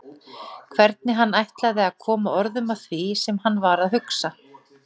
Hvernig hann ætlaði að koma orðum að því sem hann var að hugsa.